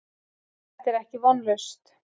Þetta er ekki vonlaust.